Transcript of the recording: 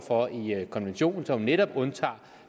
konventionen som netop undtager